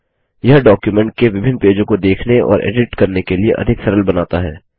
यह डॉक्युमेंट के विभिन्न पेजों को देखने और एडिट करने के लिए अधिक सरल बनाता है